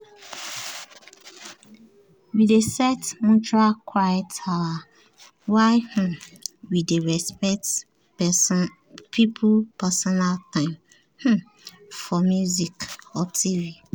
we dey set mutual quiet hours while um we dey respect people personal time um for music or tv.